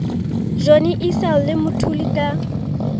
johnny issel le mthuli ka